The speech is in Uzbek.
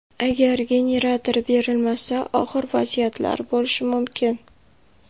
Agar generator berilmasa, og‘ir vaziyatlar bo‘lishi mumkin.